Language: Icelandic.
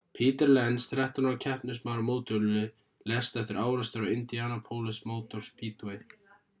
peter lenz 13 ára keppnismaður á mótorhjóli lést eftir árekstur á indianapolis motor speedway